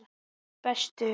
Þú ert bestur.